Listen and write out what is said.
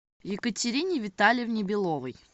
екатерине витальевне беловой